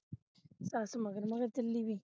ਸਸ ਮਗਰ-ਮਗਰ ਚਲੀ ਵੀ